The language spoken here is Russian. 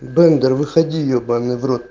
бендер выходи ебанный в рот